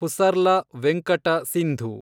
Pusarla Venkata Sindhu